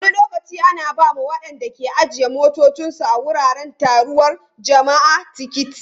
Wani lokaci ana ba wa waɗanda ke ajiye motocinsu a wuraren taruwar jama'a tiketi.